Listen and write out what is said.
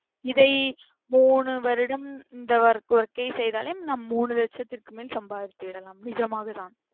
இதை மூனு வருடம் இந்த work யை செயிது முடித்தலே நாம் மூனு வருசத்துக்குமேலே சம்பாதித்து விடலாம். நிஜமாகத்தான்.